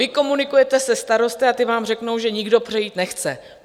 Vy komunikujete se starosty a ti vám řeknou, že nikdo přejít nechce.